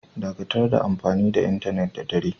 Dakatar da amfani da intenet da dare!